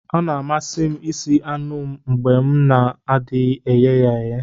Ọ na-amasị m ịsi anu m mgbe m na-adịghị eghe ya eghe